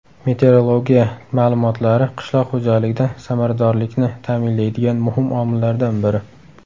Meteorologiya ma’lumotlari qishloq xo‘jaligida samaradorlikni ta’minlaydigan muhim omillardan biri.